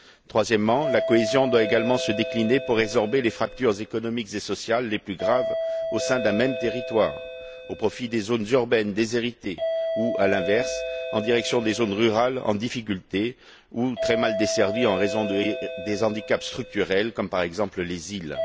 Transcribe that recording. Troisièmement, la cohésion doit également se décliner pour résorber les fractures économiques et sociales les plus graves au sein d'un même territoire au profit des zones urbaines déshéritées ou, en direction des zones rurales en difficulté ou très mal desservies en raison de handicaps structurels comme le sont, par exemple, les îles.